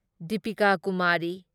Deepika Kumari